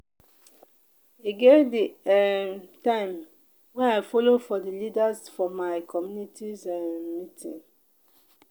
e get di um time wey i folo for di leaders for my community um meeting.